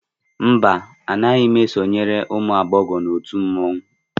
mba, Anaghị m esonyere ụmụ agbọghọ na otu mmanwụ